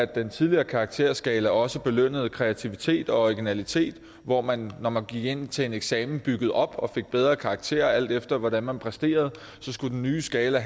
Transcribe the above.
den tidligere karakterskala også belønnede kreativitet og originalitet hvor man når man gik ind til en eksamen byggede op og fik bedre karakterer alt efter hvordan man præsterede så skulle den nye skala